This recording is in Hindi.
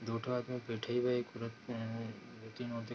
दोठो आदमी बैठे हुए एक पूरक पे हैं --